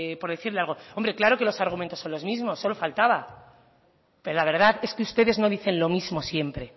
por decirle algo claro que los argumentos son los mismos solo faltaba pero la verdad es que ustedes no dicen lo mismo siempre